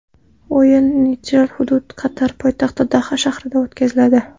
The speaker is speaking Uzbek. O‘yin neytral hudud Qatar poytaxti Doha shahrida o‘tkaziladi.